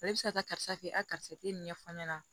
ne bɛ se ka taa karisa fɛ a karisa tɛ nin ɲɛfɔ ne ɲɛna